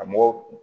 A mɔgɔ